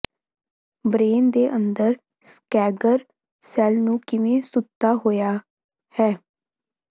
brain ਦੇ ਅੰਦਰ ਸਕੈਗਰ ਸੈਲ ਨੂੰ ਕਿਵੇਂ ਸੁੱਤਾ ਹੋਇਆ ਹੈ